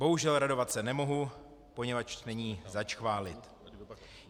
Bohužel radovat se nemohu, poněvadž není zač chválit.